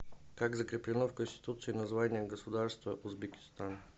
как закреплено в конституции название государства узбекистан